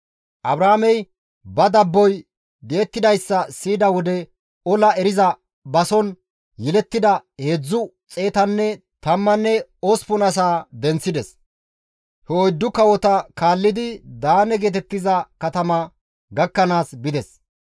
Abraamey ba dabboy di7ettidayssa siyida wode ola eriza bason yelettida heedzdzu xeetanne tammanne osppun asaa denththides; he oyddu kawota kaallidi Daane geetettiza katama gakkanaas bides.